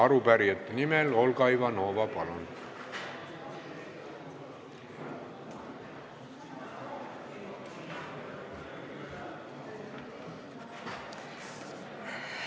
Arupärijate nimel Olga Ivanova, palun!